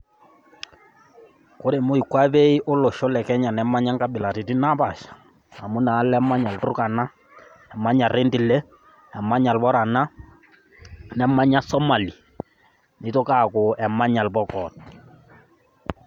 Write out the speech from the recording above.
ore moikwape olosho le kenya nemanya inkabilaritin napaasha, amu inaalo emanya ilturkana, emanya irendile, emanya ilborana, nemanya, somali. nitoki aaku emanya ilpokoot.